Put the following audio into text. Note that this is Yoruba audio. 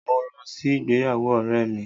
Mo lọ sí ìgbéyàwó ọ̀rẹ́ mi.